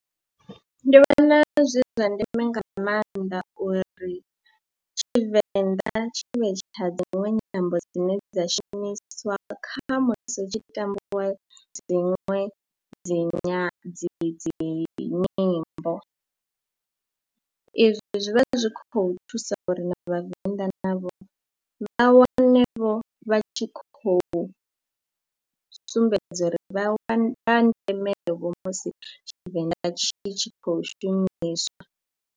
Ndi vhona zwi zwa ndeme nga maanḓa uri Tshivenḓa tshi vhe tsha dziṅwe nyambo dzine dza shumiswa kha musi hu tshi tambiwa dziṅwe dzi nya dzi dzi nyimbo, izwi zwi vha zwi khou thusa uri na vhavenḓa navho vha wanevho vha tshi khou sumbedza uri vha wa ndemevho musi Tshivenḓa tshi tshi khou shumiswa.